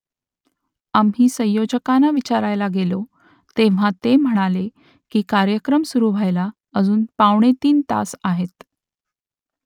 आम्ही संयोजकांना विचारायला गेलो तेव्हा ते म्हणाले की कार्यक्रम सुरू व्हायला अजून पावणे तीन तास आहेत